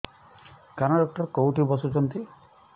କାନ ଡକ୍ଟର କୋଉଠି ବସୁଛନ୍ତି